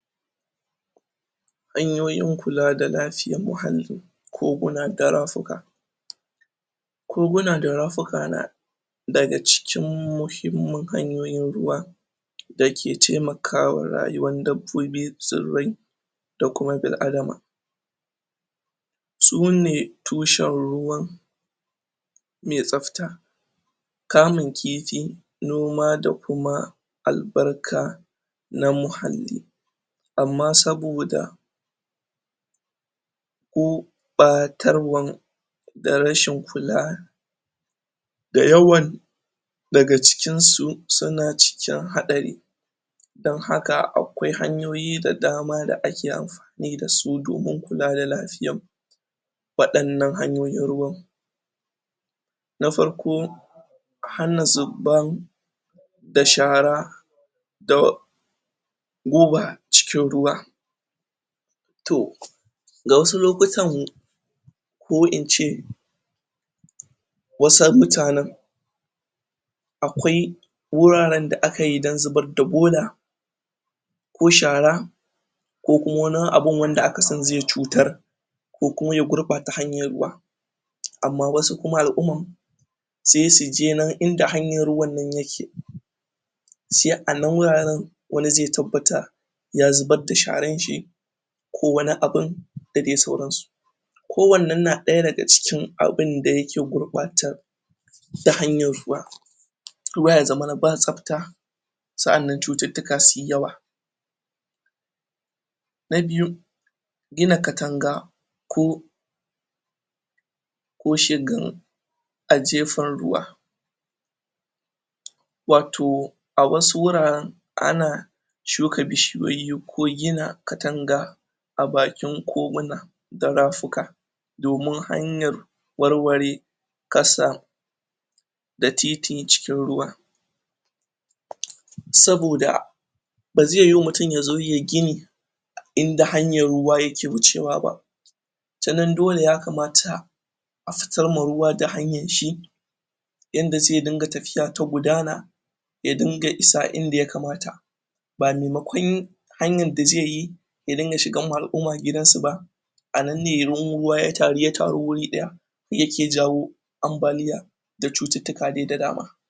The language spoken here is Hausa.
hanyoyin kula da lafiyar muhalli koguna da rafuka? koguna da rafuka na daga cikin muhimmin hanyoyin ruwa dake taimakawa rayuwan dabbobi tsirrai da kuma bil adama sune tushen ruwan mai tsafta kamun kifi, noma da kuma albarka na muhalli amma saboda gurɓatarwan da rashin kula da yawan daga cikin su suna cikin haɗari don haka akwai hanyoyi da dama da ake anfani dasu domin kula da lafiyan wadannan hanyoyin ruwan na farko hana zuban da shara da guba cikin ruwa to da wasu lokutan ko ince? wasu mutanen akwai wuraren da akayi don zubar da bola ko shara ko kuma wani abin wanda aka san zai cutar ko kuma ya gurɓata hanyar ruwa amma wasu kuma al'uman sai suje nan inda hanyan ruwan nan yake sai anan wuraren wani zai tabbata ya zubar da sharan shi ko wani abin da dai sauransu ko wannan na ɗaya daga cikin abinda yake gurɓatar da hanyar ruwa? ruwa ya zamana ba tsafta sa'annan cututtuka suyi yawa na biyu gina katanga ko ko shigan a jefan ruwa? wato a wasu wuraren ana shuka bishiyoyi ko gina katanga abakin koguna da rafuka domin hanyar warware kasam da titi cikin ruwa? saboda bazai yiwu mutum yazo yai gini? inda hanyar ruwa yake wucewa ba tanan dole ya kamata a fitar ma ruwa da hanyar shi yanda zai dinga tafiya ta gudana ya dinga isa inda ya kamata ba maimakon hanyan da zaiyi ya dinga shigan ma al'umma gidan su ba anan ne ruwan ruwa ya taru ya taru wuri ɗaya yake jawo anbaliya da cututtuka dai da dama